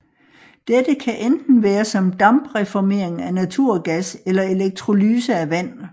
Dette kan enten være som dampreformering af naturgas eller elektrolyse af vand